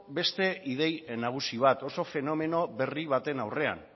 beste ideia nagusi bat oso fenomeno berri baten aurrean